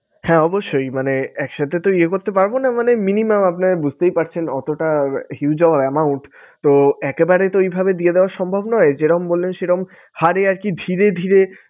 হ্যাঁ অবশ্যই মানে এক সাথে তো ইয়ে করতে পারবো না মানে minimum আপনার বুঝতেই পারছেন অতটা huge amount তো একে বারে তো এইভাবে দিয়ে দেওয়া সম্ভব নয় যেরম বললেন সেরম হারে আরকি ধীরে ধীরে